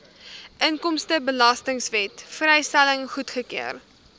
inkomstebelastingwet vrystelling goedgekeur